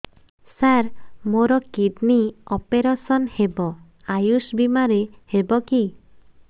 ସାର ମୋର kidney operation ହେବ ଆୟୁଷ ବିମାରେ ହେବ କି